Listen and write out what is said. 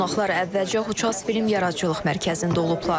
Qonaqlar əvvəlcə Huça film yaradıcılıq mərkəzində olublar.